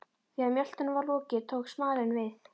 Þegar mjöltunum var lokið tók smalinn við.